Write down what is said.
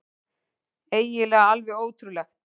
Eiginlega alveg ótrúlegt.